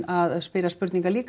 að spyrja spurninga líka